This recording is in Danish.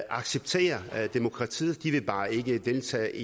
accepterer demokratiet de vil bare ikke deltage